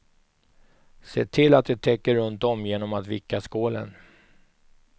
Se till att det täcker runtom genom att vicka skålen.